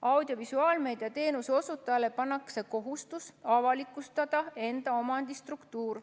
Audiovisuaalmeedia teenuse osutajale pannakse kohustus avalikustada enda omandistruktuur.